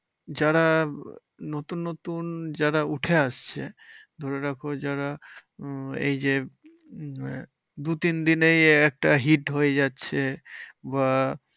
যারা নতুন নতুন যারা উঠে আসছে ধরে রাখো যারা উম এই যে আহ দু তিনদিনের একটা hit হয়ে যাচ্ছে। বা